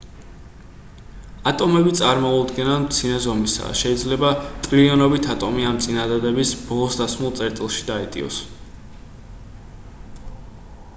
ატომები წარმოუდგენლად მცირე ზომისაა შეიძლება ტრილიონობით ატომი ამ წინადადების ბოლოს დასმულ წერტილში დაეტიოს